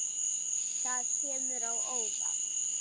Það kemur á óvart.